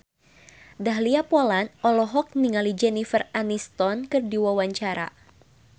Dahlia Poland olohok ningali Jennifer Aniston keur diwawancara